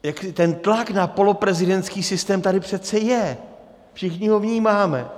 Ten tlak na poloprezidentský systém tady přece je, všichni ho vnímáme.